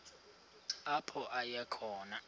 apho aya khona